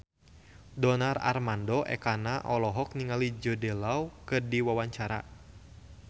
Donar Armando Ekana olohok ningali Jude Law keur diwawancara